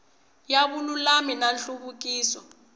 ya vululami na nhluvukiso wa